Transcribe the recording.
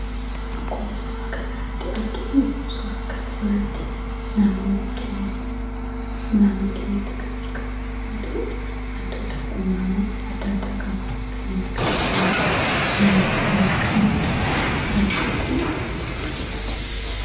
Akkuma suuraa kanarratti arginu, suuraa kana irratti naannoo keenyatti kan argamu yommuu ta'u, wantoota uummama adda addaa qaba. Kanneen akka biqiloota, loowwanii yommuu qabaatu bakki kun maal jedhama?